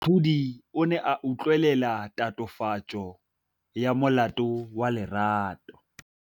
Moatlhodi o ne a utlwelela tatofatsô ya molato wa Lerato.